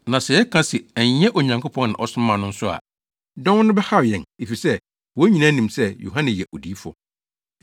Na sɛ yɛka se, ‘Ɛnyɛ Onyankopɔn na ɔsomaa no’ nso a, dɔm no bɛhaw yɛn efisɛ, wɔn nyinaa nim sɛ Yohane yɛ odiyifo.”